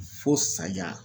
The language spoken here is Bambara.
Fo saya